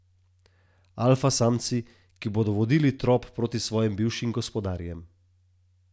Alfa samci, ki bodo vodili trop proti svojim bivšim gospodarjem.